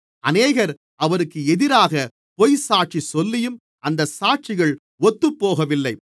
அநேகர் அவருக்கு எதிராகப் பொய்சாட்சி சொல்லியும் அந்தச் சாட்சிகள் ஒத்துபோகவில்லை